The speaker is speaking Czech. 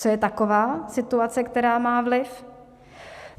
Co je taková situace, která má vliv?